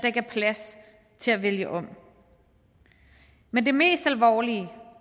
ikke er plads til at vælge om men det mest alvorlige